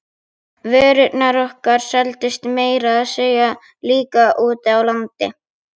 Vörurnar okkar seldust meira að segja líka úti á landi.